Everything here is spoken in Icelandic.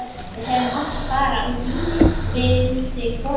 Við hefðum átt að fara á bílnum, vældi konan.